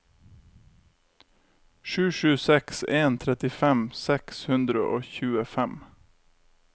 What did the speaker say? sju sju seks en trettifem seks hundre og tjuefem